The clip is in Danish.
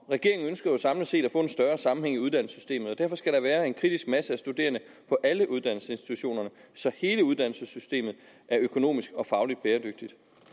regeringen ønsker samlet set at få en større sammenhæng i uddannelsessystemet og derfor skal der være en kritisk masse af studerende på alle uddannelsesinstitutionerne så hele uddannelsessystemet er økonomisk og faglig bæredygtigt